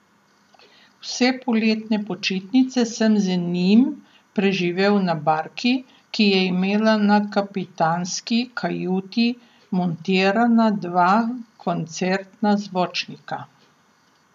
Vse poletne počitnice sem z njim preživel na barki, ki je imela na kapitanski kajuti montirana dva koncertna zvočnika.